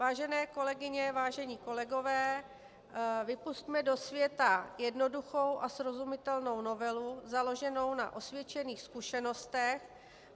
Vážené kolegyně, vážení kolegové, vypusťme do světa jednoduchou a srozumitelnou novelu založenou na osvědčených zkušenostech.